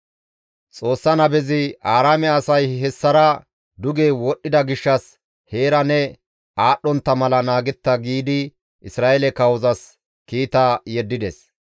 Xoossa nabezi, «Aaraame asay hessara duge wodhdhida gishshas heera ne aadhdhontta mala naagetta» giidi Isra7eele kawozas kiita yeddides.